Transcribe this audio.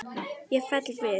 Ég fell við.